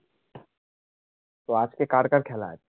তো আজকে কার কার খেলা